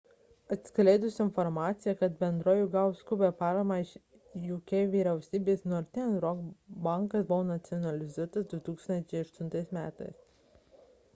atskleidus informciją kad bendrovė gavo skubią paramą iš jk vyriausybės northern rock bankas buvo nacionalizuotas 2008 m